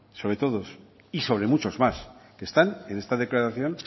sobre todos y sobre muchos más que están en esta declaración